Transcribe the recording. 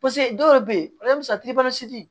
dɔw bɛ yen